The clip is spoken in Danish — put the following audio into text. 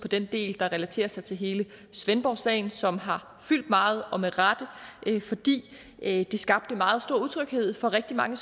den del der relaterer sig til hele svendborg sagen som har fyldt meget og med rette fordi det skabte meget stor utryghed for rigtig mange